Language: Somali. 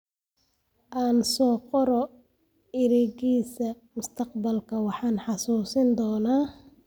Aan soo qoro eraygiisa, mustaqbalka waan xasuusin doonaa.